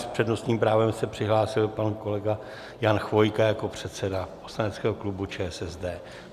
S přednostním právem se přihlásil pan kolega Jan Chvojka jako předseda poslaneckého klubu ČSSD.